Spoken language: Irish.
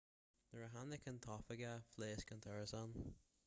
nuair a tháinig an t-oifigeach phléasc an t-árasán